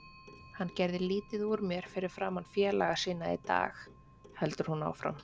Hann gerði lítið úr mér fyrir framan félaga sína í dag, heldur hún áfram.